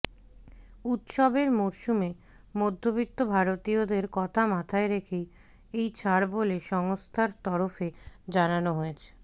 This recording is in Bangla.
উৎসবের মরসুমে মধ্যবিত্ত ভারতীয়দের কথা মাথায় রেখেই এই ছাড় বলে সংস্থার তরফে জানানো হয়েছে